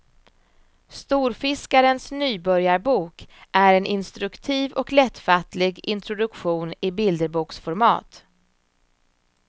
Storfiskarens nybörjarbok är en instruktiv och lättfattlig introduktion i bilderboksformat.